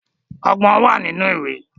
Ọgbọ́n wà nínú ìwé